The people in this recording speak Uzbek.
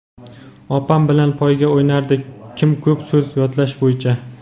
Opam bilan poyga o‘ynardik kim ko‘p so‘z yodlash bo‘yicha.